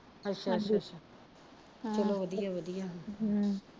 ਅੱਛਾ ਚਲੋ ਵਧੀਆ ਵਧੀਆ